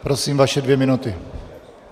Prosím vaše dvě minuty.